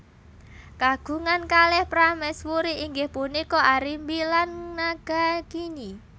Kagungan kalih prameswuri inggih punika Arimbi lan Nagagini